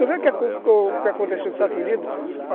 Não vê o que aconteceu nos Estados Unidos?